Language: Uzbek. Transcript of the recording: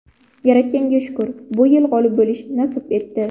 Yaratganga shukr, bu yil g‘olib bo‘lish nasib etdi.